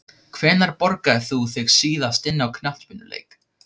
Hvenær borgaðir þú þig síðast inn á knattspyrnuleik?